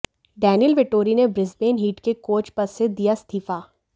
Daniel Vettori ने Brisbane Heat के coach पद से दिया इस्तीफा